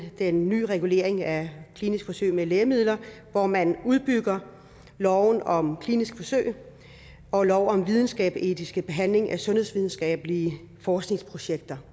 den nye regulering af kliniske forsøg med lægemidler hvor man udbygger loven om kliniske forsøg og lov om videnskabsetisk behandling af sundhedsvidenskabelige forskningsprojekter